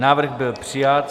Návrh byl přijat.